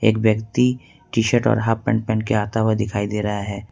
एक व्यक्ति T shirt और हाफ पैंट पहन के आता हुआ दिखाई दे रहा है।